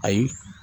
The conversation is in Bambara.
Ayi